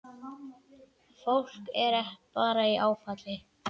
Fólk er bara í áfalli.